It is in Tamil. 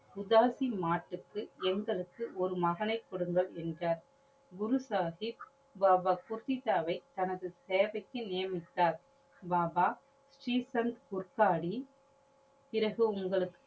உதாசி மாட்டுக்கு எங்களுக்கு ஒரு மகனை கொடுங்கள் என்றார். குரு சாஹிப் பாபா குர்த்திதாவை தனது சேவைக்கு நியமித்தார். பாபா ஸ்ரீ சந் குர்காடி பிறகு உங்களுக்கு